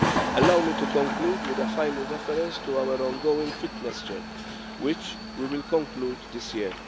Allow me to conclude with a final reference to our ongoing fitness check, which we will conclude this year.